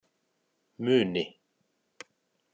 Muni